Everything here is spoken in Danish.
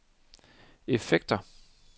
effekter